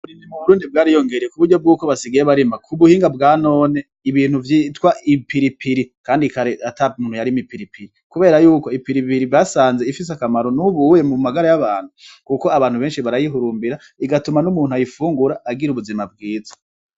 Uburimyi mu burundi bwariyongereye kuburyo bwuko basigaye barima k'ubuhinga bwa none ibintu vyitwa ipiripiri , kandi kare ata muntu yarima ipiripiri . Kubera yuko ipiripiri basanze ifis'akamaro mu magara y'abantu , kuko abantu benshi barayihurumbira bigatuma n'umuntu ayifungura agira ubuzima bwiza .